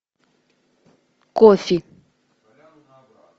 кофе